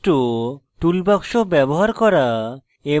document বৈশিষ্ট্য tool box ব্যবহার করা এবং